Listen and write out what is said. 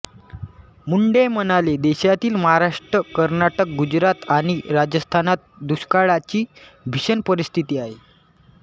मुंडे म्हणाले देशातील महाराष्ट्र कर्नाटक गुजरात आणि राजस्थानात दुष्काळाची भीषण परिस्थिती आहे